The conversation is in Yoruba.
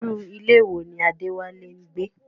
Irú ilé wo ni Adewale ń gbé?